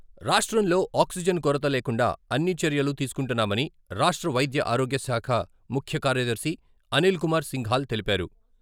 రాష్ట్రంలో ఆక్సిజన్ కొరత లేకుండా అన్ని చర్యలు తీసుకుంటున్నామని రాష్ట్ర వైద్య ఆరోగ్యశాఖ ముఖ్యకార్యదర్శి అనిల్ కుమార్ సింఘాల్ తెలిపారు.